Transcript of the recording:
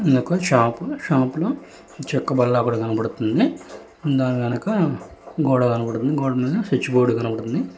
ఇది ఒక షాపు షాపులో చెక్క బల్ల కూడా కనబడుతుంది ముంద గనక గోడ కనబడుతుంది గోడ మీద స్విచ్ బోర్డ్ కనబడుతుంది